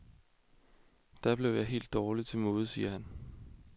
Da blev jeg helt dårligt til mode, siger han.